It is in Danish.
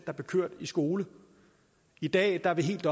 der blev kørt i skole i dag er vi helt